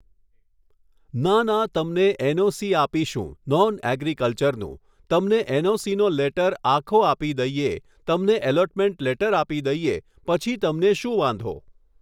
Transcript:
ના ના તમને એનઓસી આપીશું નોન એગ્રિકલ્ચરનું તમને એનઓસીનો લેટર આખો આપી દઈએ તમને અલૉટ્મેંટ લેટર આપી દઈએ પછી તમને શું વાંધો